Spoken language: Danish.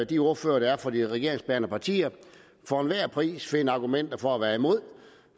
de ordførere der er fra de regeringsbærende partier for enhver pris finde argumenter for at være imod